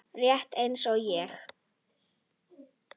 Rétt eins og ég.